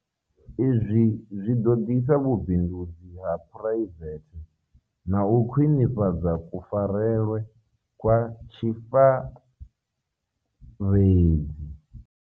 Izwi zwi ḓo ḓisa vhubindudzi ha phuraivethe na u khwiṋifhadza kufarelwe kwa tshifaredzi.